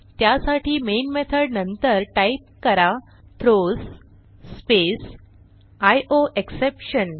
त्यासाठी main method नंतर type करा थ्रोज स्पेस आयोएक्सेप्शन